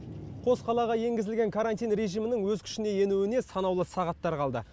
қос қалаға енгізілген карантин режимінің өз күшіне енуіне санаулы сағаттар қалды